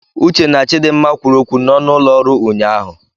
Uche na Chidimma kwuru okwu n'ọnụ ụlọ ọrụ ụnyahụ.